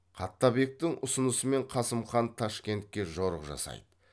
қаттабектің ұсынысымен қасым хан ташкентке жорық жасайды